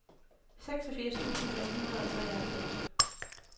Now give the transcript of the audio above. seksogfirs tusind fem hundrede og treoghalvfems